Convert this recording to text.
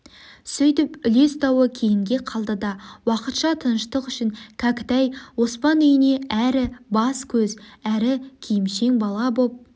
сөйтіп үлес дауы кейінге қалды да уақытша тыныштық үшін кәкітай оспан үйіне әрі бас-көз әрі киімшең бала боп